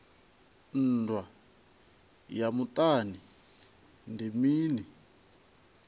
nndwa ya muṱani ndi mini